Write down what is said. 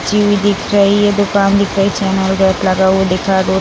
चीनी दिख रही है दुकान दिख रही है। चैनल गेट लगा हुआ दिख रहा है। रोड --